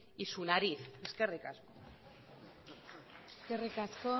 y su nariz eskerrik asko eskerrik asko